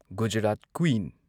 Gujarat queen